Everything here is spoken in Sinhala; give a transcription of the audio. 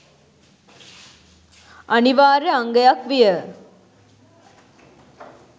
අනිවාර්ය අංගයක් විය.